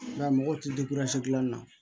I b'a ye mɔgɔw ti gilan na